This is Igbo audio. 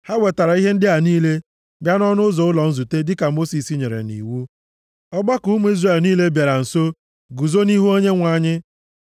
Ha wetara ihe ndị a niile bịa nʼọnụ ụzọ ụlọ nzute dịka Mosis nyere nʼiwu. Ọgbakọ ụmụ Izrel niile bịara nso guzo nʼihu Onyenwe anyị.